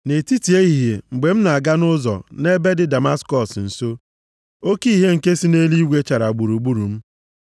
“Nʼetiti ehihie, mgbe m na-aga nʼụzọ, nʼebe dị Damaskọs nso, oke ìhè nke si nʼeluigwe, chara gburugburu m.